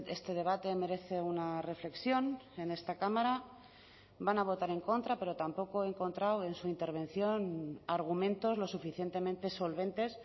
este debate merece una reflexión en esta cámara van a votar en contra pero tampoco he encontrado en su intervención argumentos lo suficientemente solventes